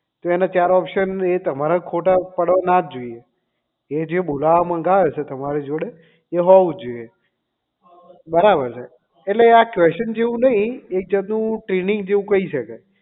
તો એના ચાર option ખોટા તો પડવા ના જ જોઈએ એ જે બોલાવા મંગાવે છે તમારી જોડે એ હોવું જ જોઈએ બરાબર છે એટલે આ question જેવું જ નહીં એક જાત નું training જેવું થઇ શકે